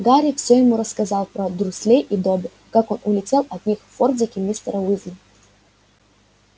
гарри все ему рассказал про дурслей и добби как он улетел от них в фордике мистера уизли